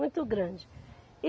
Muito grande.